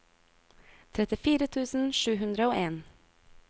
trettifire tusen sju hundre og en